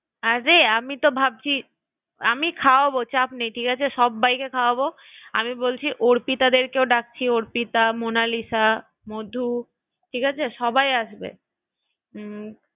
আরে আমি তো ভাবছি আর একটা কথা বলি, আমি খাওয়াবো চাপ নেই ঠিক আছে সব্বাইকে খাওয়াবো আমি বলছি অর্পিতাদেরকেও ডাকছি অর্পিতা, মোনালিসা, মধু ঠিক আছে সবাই আসবে